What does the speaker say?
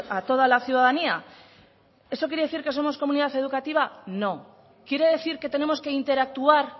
a toda la ciudadanía eso quiere decir que somos comunidad educativa no quiere decir que tenemos que interactuar